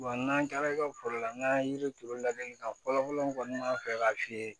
n'an taara i ka foro la n'an ye yiri turu ladilikan fɔlɔ kɔni m'a fɛ k'a f'i ye